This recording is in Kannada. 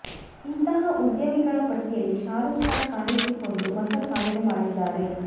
ಇಂತಹ ಉದ್ಯಮಿಗಳ ಪಟ್ಟಿಯಲ್ಲಿ ಶಾರೂಖ್ ಖಾನ್ ಕಾಣಿಸಿಕೊಂಡು ಹೊಸ ಸಾಧನೆ ಮಾಡಿದ್ದಾರೆ